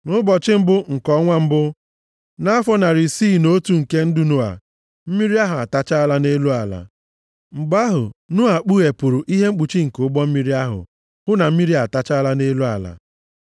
Nʼụbọchị mbụ nke ọnwa mbụ nʼafọ narị isii na otu nke ndụ Noa, mmiri ahụ atachaala nʼelu ala. Mgbe ahụ, Noa kpughepụrụ ihe mkpuchi nke ụgbọ mmiri ahụ, hụ na mmiri atachaala nʼelu ala.